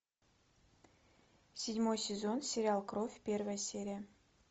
седьмой сезон сериал кровь первая серия